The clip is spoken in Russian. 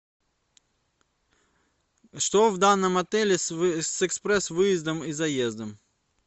что в данном отеле с экспресс выездом и заездом